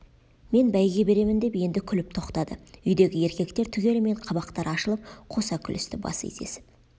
мен бәйге беремін деп енді күліп тоқтады үйдегі еркектер түгелімен қабақтары ашылып қоса күлісті бас изесіп